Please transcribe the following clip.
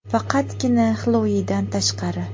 Faqatgina Xloidan tashqari.